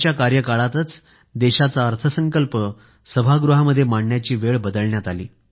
त्यांच्या कार्यकाळातच देशाचा अर्थसंकल्प सभागृहामध्ये मांडण्याची वेळ बदलण्यात आली